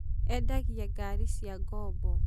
eendagia ngari cia ngombo